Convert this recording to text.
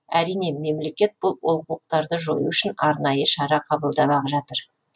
әрине мемлекет бұл олқылықтарды жою үшін арнайы шара қабылдап ақ жатыр